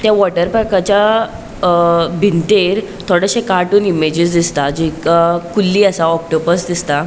ते वोटर पार्कच्या अ भींतेर थोडेशे कार्टून इमेजीस दिसता जी अ कुल्ली असा ऑक्टोपस दिसता.